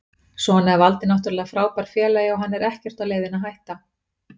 Svo er Valdi náttúrulega frábær félagi og hann er ekkert á leiðinni að hætta.